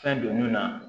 Fɛn donni na